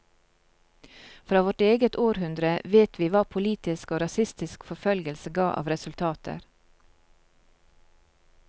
Fra vårt eget århundre vet vi hva politisk og rasistisk forfølgelse ga av resultater.